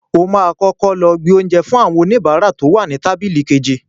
O máa kọ́kọ́ gbé oúnjẹ lọ fún àwọn oníbàárà tí ó wà ní tábílì kejì.